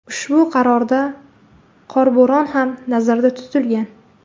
Ushbu qarorda qorbo‘ron ham nazarda tutilgan.